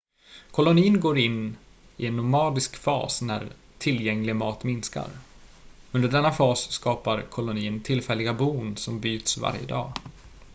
kolonin går in i en nomadisk fas när tillgänglig mat minskar under denna fas skapar kolonin tillfälliga bon som byts varje dag